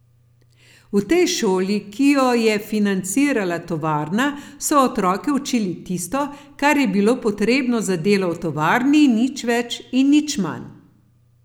V tej šoli, ki jo je financirala tovarna, so otroke učili tisto, kar je bilo potrebno za delo v tovarni, nič več nič manj.